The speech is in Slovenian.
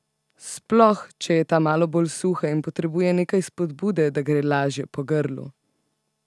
Sploh, če je ta malo bolj suha in potrebuje nekaj spodbude, da gre lažje po grlu!